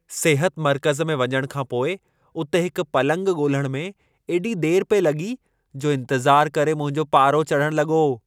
सिहत मर्कज़ में वञणु खां पोइ उते हिक पलंग ॻोल्हणु में एॾी देर पिए लॻी जो इंतिज़ारु करे मुंहिंजो पारो चढ़ण लॻो।